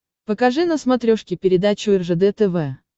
покажи на смотрешке передачу ржд тв